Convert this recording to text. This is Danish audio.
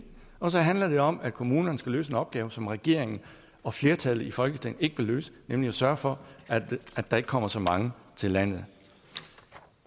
og så handler det om at kommunerne skal løse en opgave som regeringen og flertallet i folketinget ikke vil løse nemlig at sørge for at der ikke kommer så mange til landet